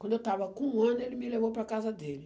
Quando eu estava com um ano, ele me levou para a casa dele.